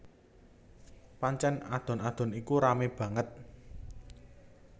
Pancèn adon adon iku ramé banget